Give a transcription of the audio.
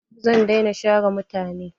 Zan dai na share mutane.